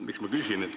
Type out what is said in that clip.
Miks ma küsin?